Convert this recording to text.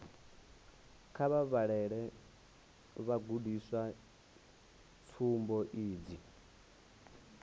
kha vha vhalele vhagudiswa tsumbo idzi